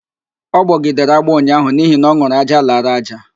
Ọ gbọgidere agbọọ unyaahụ n'ihi na ọn̄ụrụ ájá lara ájá